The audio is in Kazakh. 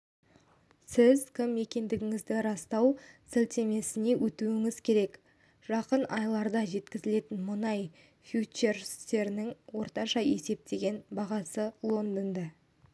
сіз кім екендігіңізді растау сілтемесіне өтуіңіз керек жақын айларда жеткізілетін мұнай фьючерстерінің орташа есептеген бағасы лондонда